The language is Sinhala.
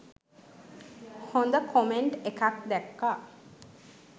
හොඳ කොමෙන්ට් එකක් දැක්ක.